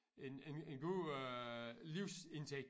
En en en god øh livsindtægt